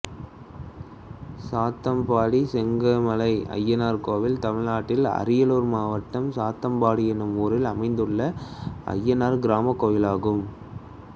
சாத்தம்பாடி செங்கமலை அய்யனார் கோயில் தமிழ்நாட்டில் அரியலூர் மாவட்டம் சாத்தம்பாடி என்னும் ஊரில் அமைந்துள்ள அய்யனார் கிராமக் கோயிலாகும்